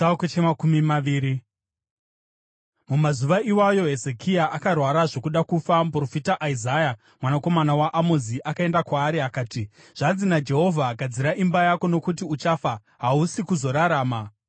Mumazuva iwayo Hezekia akarwara zvokuda kufa. Muprofita Isaya mwanakomana waAmozi akaenda kwaari akati, “Zvanzi naJehovha: Gadzira imba yako, nokuti uchafa, hausi kuzorarama.”